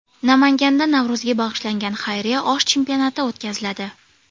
Namanganda Navro‘zga bag‘ishlangan xayriya osh chempionati o‘tkaziladi.